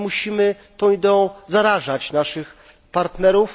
Musimy tą ideą zarażać naszych partnerów.